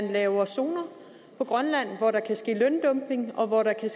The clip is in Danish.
lavet zoner på grønland hvor der kan ske løndumping og hvor der kan